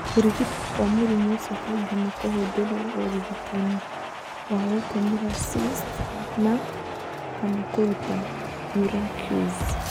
Kũrigitwo kwa mũrimũ ũcio kaingĩ nĩ kũhũthĩrũo ũrigitani wa gũtumũra cyst na/kana kũruta urachus.